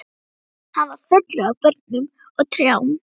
Hann var fullur af börnum og trjám.